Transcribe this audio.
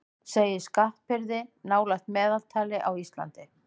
Segir skattbyrði nálægt meðaltali á Íslandi